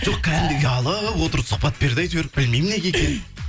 жоқ кәдімгідей ұялып отырып сұхбат берді әйтеуір білмеймін неге екенін